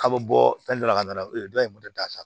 K'a bɛ bɔ fɛn dɔ la ka na dɔ in da sa